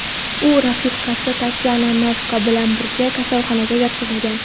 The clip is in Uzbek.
U rafiqasi Tatyana Navka bilan birga kasalxonaga yotqizilgan.